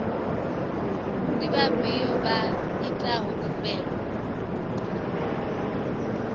ndi vhafhiyo vha itaho khumbelo